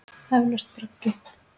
Eflaust braggi.